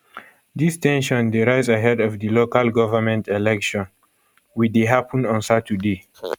dis ten sion dey rise ahead of di local government election we dey happun on saturday